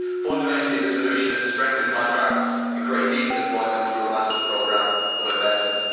Fundamentally, the solution is to strengthen contracts and create decent employment through a massive programme of investment.